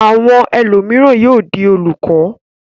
Àwọn ẹlòmíràn yóò di olùkọ́.